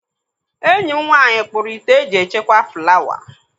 Enyi m nwaanyị kpuru ite eji echekwa flawa.